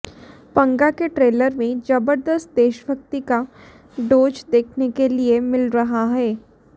पंगा के ट्रेलर में जबरदस्त देशभक्ति का डोज देखने के लिए मिल रहा है